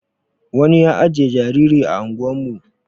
wani ya ajiye jariri ah ungwan mu